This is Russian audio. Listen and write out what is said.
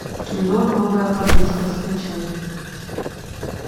кино новая подружка скачай